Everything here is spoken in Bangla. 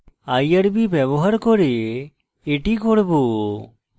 irb ব্যবহার করে এটি irb